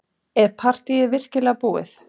Er partýið virkilega búið?